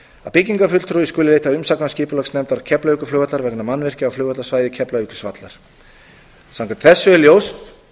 að byggingarfulltrúi skuli leita umsagnar skipulagsnefndar keflavíkurflugvallar vegna mannvirkja á flugvallarsvæði keflavíkurflugvallar samkvæmt þessu er ljóst